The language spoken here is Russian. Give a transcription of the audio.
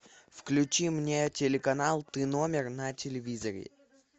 включи мне телеканал ты номер на телевизоре